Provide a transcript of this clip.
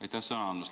Aitäh sõna andmast!